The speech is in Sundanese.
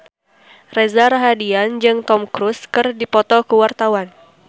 Reza Rahardian jeung Tom Cruise keur dipoto ku wartawan